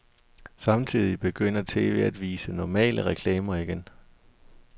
Samtidig begynder tv at vise normale reklamer igen.